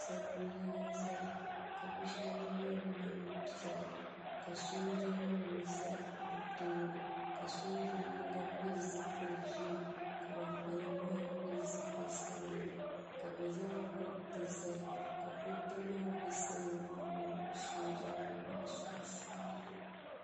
Salo n laɣim zaya ka bi shɛba yɛ niɛn piɛla ka sooja nim za bi tooni ka sooja yinga pili zipili ʒee ka ban kpalim maa pili zipili sabila ka bi zaŋ kuriti zali ka kuriti maa bɛ salo maa mini sooja nim maa sunsuuni.